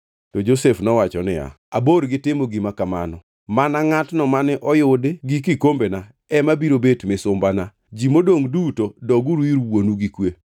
To Josef nowacho niya, “Abor gi timo gima kamano! Mana ngʼatno mane oyudi gi kikombena ema biro bet misumbana. Ji modongʼ duto doguru ir wuonu gi kwe.”